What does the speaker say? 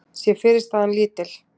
sé fyrirstaðan lítil.